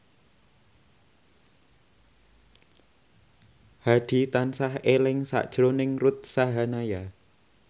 Hadi tansah eling sakjroning Ruth Sahanaya